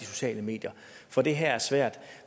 sociale medier for det her er svært